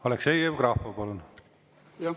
Aleksei Jevgrafov, palun!